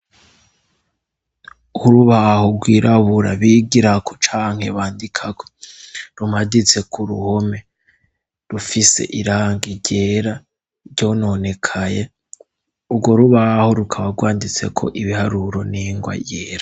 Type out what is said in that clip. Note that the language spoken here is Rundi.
Urubaho rwirabura bigira ko canke bandikako rumaditse ku ruhome rufise irangi ryera ryo nonekaye ubwo rubaho rukaba rwanditse ko ibiharuro n'ingwa yera.